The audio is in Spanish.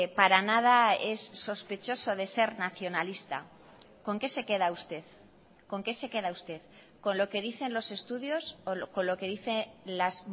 para nada es sospechoso de ser nacionalista con qué se queda usted con qué se queda usted con lo que dicen los estudios o con lo que dice las